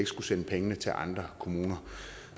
skulle sende pengene til andre kommuner